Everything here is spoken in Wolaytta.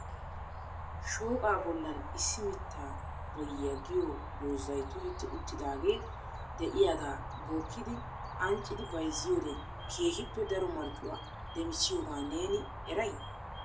Shooqa bollan issi mitta boyyiya giyo doozay tohetti uttidaage de'iyaaga bookkidi anccidi bayzziyoode keehippe daro marccuwa demissiyooga neeni eray ?